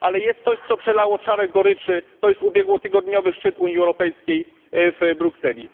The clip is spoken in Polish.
Ale jest coś, co przelało czarę goryczy ubiegłotygodniowy szczyt Unii Europejskiej w Brukseli.